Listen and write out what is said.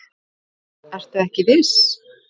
Ertu ekki viss?